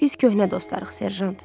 Biz köhnə dostlarıq, Serjant.